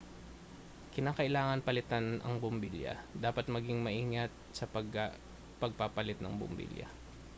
kinakailangang palitan ang bumbilya dapat maging maingat sa pagpapalit ng bumbilya